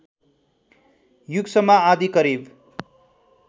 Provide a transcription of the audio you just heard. युगसम्म आदि करिब